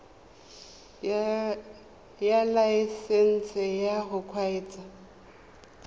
ya laesesnse ya go kgweetsa